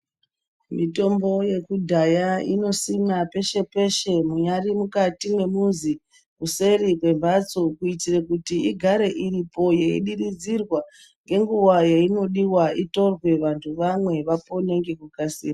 Mitombo yekudhaya inosimwa peshe peshe munyari mukati mwemuzi, kuseri kwemhatso kuitire kuti igare iripo yeidiridzirwa ngenguwa yainodiwa itorwe vantu vamwe vapone ngekukasira.